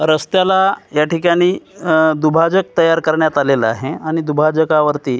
रस्त्याला या ठिकाणी अ दुभाजक तयार करण्यात आलेला आहे आणि दुभाजकावरती--